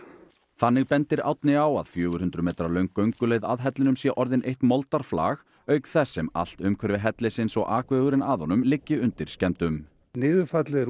þannig bendir Árni á að fjögur hundruð metra löng gönguleið að hellinum sé orðin eitt moldarflag auk þess sem allt umhverfi hellisins og akvegurinn að honum liggi undir skemmdum niðurfallið er